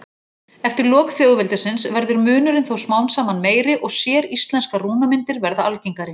Eftir lok þjóðveldisins verður munurinn þó smám saman meiri og séríslenskar rúnamyndir verða algengari.